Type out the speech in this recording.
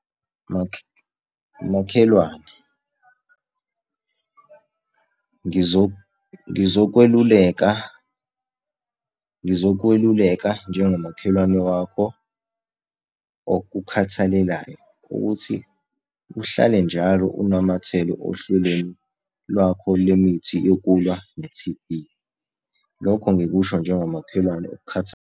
Makhelwane, ngizokweluleka, ngizokweluleka njengomakhelwane wakho okukhathalelayo ukuthi, uhlale njalo unamathele ohlelweni lwakho lemithi yokulwa ne-T_B. Lokho ngikusho njengomakhelwane .